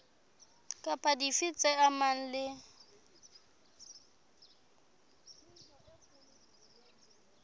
kapa dife tse amanang le